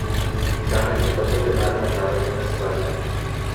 Danes je pa to denar mednarodnega sklada.